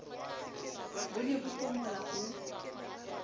bo ne bo hlomola ho